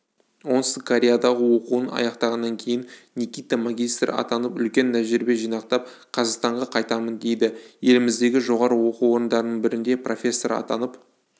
оңтүстік кореядағы оқуын аяқтағаннан кейін никита магистр атанып үлкен тәжірибе жинақтап қазақстанға қайтамын дейді еліміздегі жоғары оқу орындарының бірінде профессор атанып